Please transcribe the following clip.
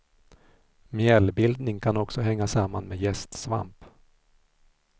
Mjällbildning kan också hänga samman med jästsvamp.